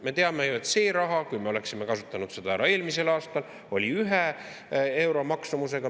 Me teame ju, et kui me oleksime kasutanud selle raha ära eelmisel aastal, siis olnuks tegu euro maksumusega.